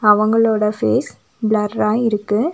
அவங்களோட ஃபேஸ் பிளர்ரா இருக்கு.